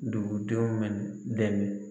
Dugudenw dɛmɛ